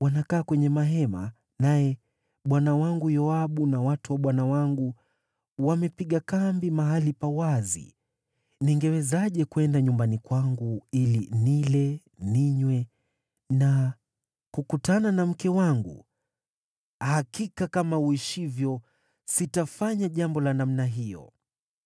wanakaa kwenye mahema, naye bwana wangu Yoabu na watu wa bwana wangu wamepiga kambi mahali pa wazi. Ningewezaje kwenda nyumbani kwangu ili nile, ninywe na kukutana na mke wangu? Hakika kama uishivyo sitafanya jambo la namna hiyo!”